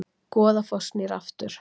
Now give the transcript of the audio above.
Goðafoss snýr aftur